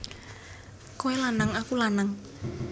Kowe lanang aku lanang